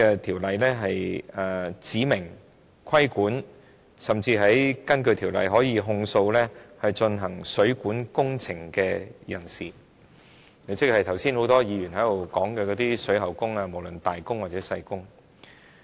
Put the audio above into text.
《條例草案》亦規管工人，甚至訂明可以控訴負責進行指明水管工程的水喉匠；剛才很多議員亦提到水喉技工，包括"大工"和"細工"。